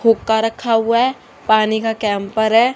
हुक्का रखा हुआ हैं पानी का कैम्पर हैं।